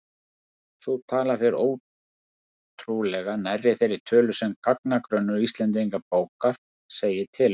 Sú tala fer ótrúlega nærri þeirri tölu sem gagnagrunnur Íslendingabókar segir til um.